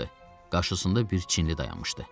Qarşısında bir Çinli dayanmışdı.